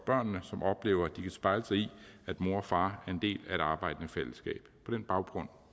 børnene som oplever at de kan spejle sig i at mor og far er en del af et arbejdende fællesskab på den baggrund